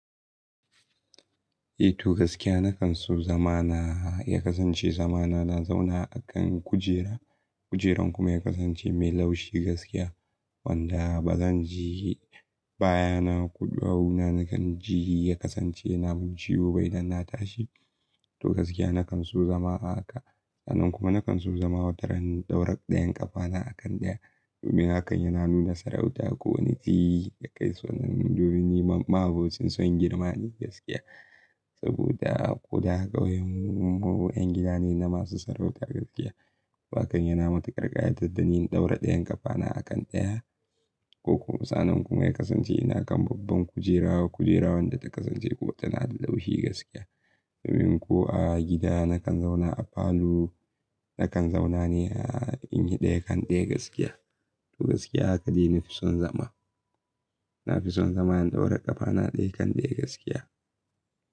Eh to gaskiya na kan so zama na ya kasance zama na, na zauna a kan kujera, kujeran kuma ya kasance mai laushi gaskiya wanda ba zan ji baya na, koh duwawu na nakan ji ya kasance na mun ciwo ba idan na tashi. To gaskiya na kan so zama haka. Sannan kuma nakan so zama wataran ɗaura ɗayan ƙafana a kan ɗaya domin hakan yana nuna sarauta ko wani matsayi da kai so domin ni ma'aɓucin son girma ne gaskiya saboda ƙoda ƙauyen mu 'yan gida ne na masu sarauta gaskiya. Toh hakan yana matukar kayatar tadani in ɗaura ɗayan ƙafana a kan ɗaya ko kuma sannan kuma ya kasance ina kan babban kujera, kujera wanda ta kasance kuma tana da laushi gaskiya domin ko a gida nakan zauna a falo, nakan zauna ne in yi ɗaya kan ɗaya gaskiya. To gaskiya haka dai nafi son zama. Na fi son zama in ɗaura ƙafana ɗaya kan ɗaya gaskiya.